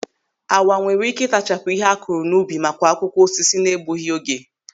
Awa nwere ị́kẹ́ ịtachapụ ihe akụrụ n'ubi ma kwa akwụkwọ osisi na-egbughị oge.